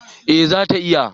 eh za ta iya